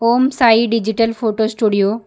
Om Sai digital photo studio --